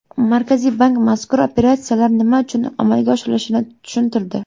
Markaziy bank mazkur operatsiyalar nima uchun amalga oshirilishini tushuntirdi .